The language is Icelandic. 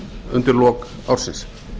undir loks ársins